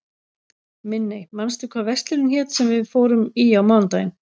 Minney, manstu hvað verslunin hét sem við fórum í á mánudaginn?